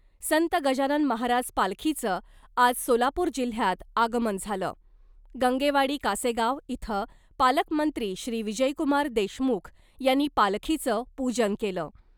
संत गजानन महाराज पालखीचं आज सोलापूर जिल्हयात आगमन झालं , गंगेवाडी कासेगाव इथं पालकमंत्री श्री विजयकुमार देशमुख यांनी पालखीचं पूजन केलं .